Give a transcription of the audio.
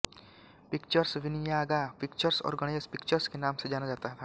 pictures Vinayaga pictures और Ganesh pictures के नाम से जाना जाता था